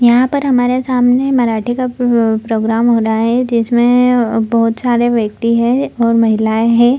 यहां पर हमारे सामने मराठे का प्रोग्राम हो रहा है जिसमे बहोत सारे व्यक्ति है और महिलाए है।